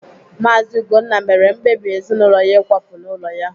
Maazi Ugonna mere mkpebi ezinụlọ ya ịkwapụ n'ụlọ ya.